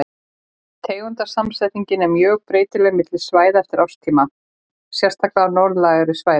Tegundasamsetningin er mjög breytileg milli svæða og eftir árstíma, sérstaklega á norðlægari svæðum.